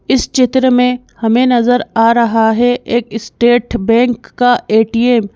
इस चित्र में हमें नजर आ रहा है एक स्टेट बैंक का एटीएम --